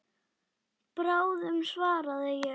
Bráðum svaraði ég.